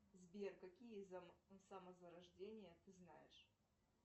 сбер какие самозарождения ты знаешь